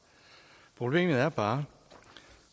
problemet er bare